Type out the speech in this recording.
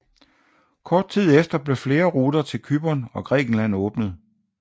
Kort tid efter blev flere ruter til Cypern og Grækenland åbnet